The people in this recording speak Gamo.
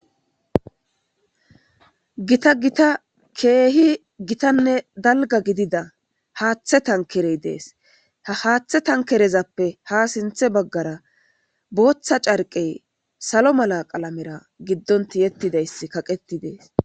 Gita gita keehi gitanne dalga gidida haaththe tankerey dees ha haaththe tankerezappe ha sinthe baggara booththa carqey salo mala qalamera giddon tiyettidayssi kaqeti dees.